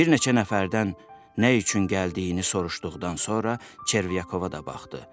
Bir neçə nəfərdən nə üçün gəldiyini soruşduqdan sonra Çervyakova da baxdı.